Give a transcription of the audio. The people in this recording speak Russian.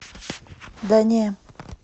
да не